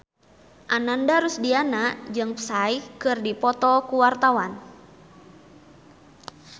Ananda Rusdiana jeung Psy keur dipoto ku wartawan